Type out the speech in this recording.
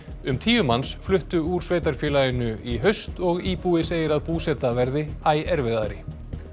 um tíu manns fluttu úr sveitarfélaginu í haust og íbúi segir að búseta verði æ erfiðari